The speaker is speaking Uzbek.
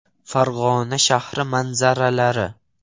Farg‘ona shahri manzaralari.